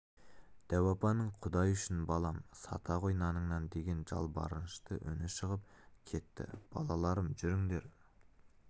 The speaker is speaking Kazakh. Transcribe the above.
дәу апаның құдай үшін балам сата ғой наныңнан деген жалбарынышты үні шығып кетті балаларым жүріңдер